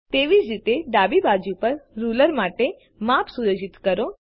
તેવી જ રીતે ડાબી બાજુ પર રૂલર માટે માપ સુયોજિત કરો